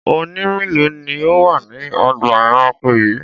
Ọ̀ọ̀nì mélòó ni ó wà ní ọgbà-ẹranko yìí?